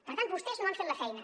per tant vostès no han fet la feina